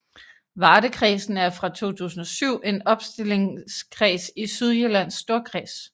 Vardekredsen er fra 2007 en opstillingskreds i Sydjyllands Storkreds